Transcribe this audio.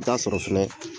Taa sɔrɔ fɛnɛ